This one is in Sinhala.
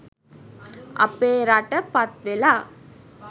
අපේ රට පත්වෙලා